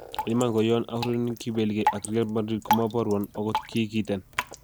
"En iman ko yon aurereni kibeligei ak Real Madrid komoborwon ogot kii kiten."